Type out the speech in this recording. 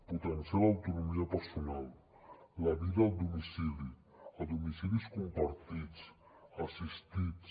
potenciar l’autonomia personal la vida al domicili a domicilis compartits assistits